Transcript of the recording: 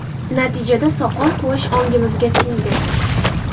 Natijada soqol qo‘yish ongimizga singdi.